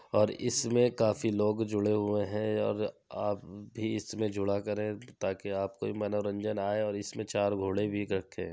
और इसमें काफी लोग जुड़े हुए हैं और आप ही इसमें जुड़ा करे ताकि आपको भी मनोरंजन आये और इसमें चार घोड़े भी रखे हैं।